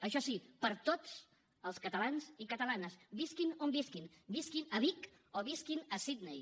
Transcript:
això sí per a tots els catalans i catalanes visquin on visquin visquin a vic o visquin a sidney